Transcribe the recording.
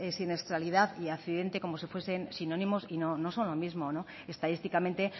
siniestralidad y accidente como si fuese sinónimos y no son lo mismo estadísticamente